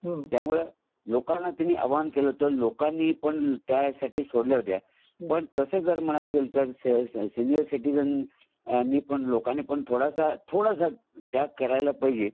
त्यामुळे लोकाना त्यांनी आव्हान केलं लोकांनी पण त्या साठी सोडल्या होत्या तस जर म्हणायला गेला तर सीनियर सिटिजन पण लोकांनी पण थोडासा थोडासा त्याग करायला पाहिजे